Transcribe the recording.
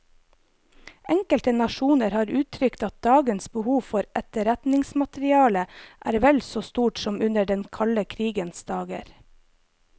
Enkelte nasjoner har uttrykt at dagens behov for etterretningsmateriale er vel så stort som under den kalde krigens dager.